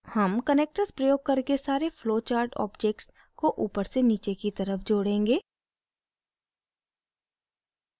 हम connectors प्रयोग करके सारे flowchart objects को ऊपरसेनीचे की तरफ जोड़ेंगे